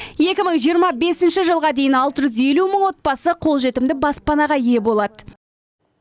екі мың жиырма бесінші жылға дейін алты жүз елу мың отбасы қолжетімді баспанаға ие болады